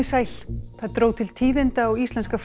sæl það dró til tíðinda á íslenska